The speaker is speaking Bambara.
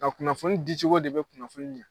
A kunnafoni dicogo de bɛ kunnafoni ɲɛ